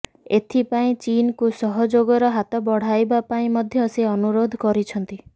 ଏଥିପାଇଁ ଚୀନକୁ ସହଯୋଗର ହାତ ବଢାଇବା ପାଇଁ ମଧ୍ୟ ସେ ଅନୁରୋଧ କରିଛନ୍ତି